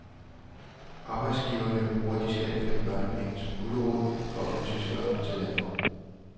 Arbejdsgiverne bruger de skattefri børnepenge som gulerod for at få tyskere til landet.